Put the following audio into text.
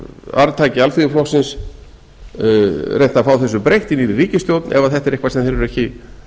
arftakar alþýðuflokksins reynt að fá þessu breytt inni í ríkisstjórn ef þetta er eitthvað sem þeir eru ekki